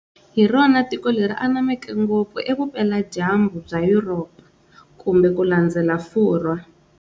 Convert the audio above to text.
Hi rona tiko leri anameke ngopfu e vupela-dyambu bya Yuropa, kulandzela Furhwa